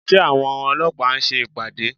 Ṣé àwọn ọlọ́pàá ń ṣe ìpàdé?